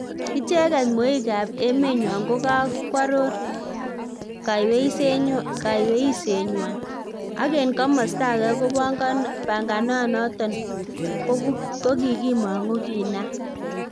Icheget mweikab emenywany kokogoaror kaiyweisienywan, ak en komosto age ko panganoton kokimong'u kinam